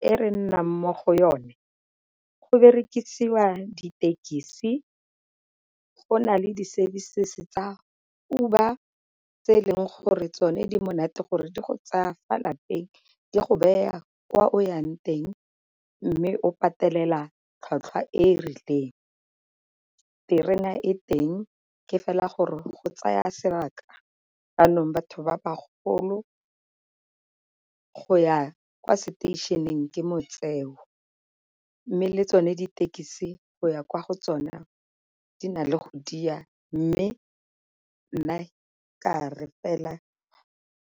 e re nnang mo go yone go berekisiwa ditekisi, go na le di-services tsa Uber tse e leng gore tsone di monate gore di go tsaya fa lapeng di go baya kwa o yang teng mme o patelelwa tlhwatlhwa e e rileng. Terena e teng ke fela gore go tsaya sebaka jaanong batho ba ba golo go ya kwa seteišeneng ke mo tseo, mme le tsone ditekisi go ya kwa go tsona di na le go diya. Mme nna ka re fela